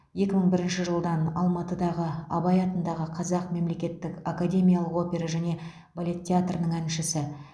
екі мың бірінші жылдан алматыдағы абай атындағы қазақ мемлекеттік академиялық опера және балет театрының әншісі